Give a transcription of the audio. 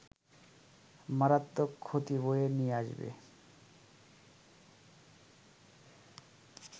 মারাত্মক ক্ষতি বয়ে নিয়ে আসবে